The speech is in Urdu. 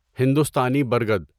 ہندوستانی برگد